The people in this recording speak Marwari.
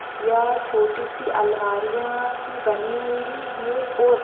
यह छोटी सी अलवारिया सी बनी हुई है और --